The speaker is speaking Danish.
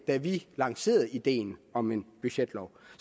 da vi lancerede ideen om en budgetlov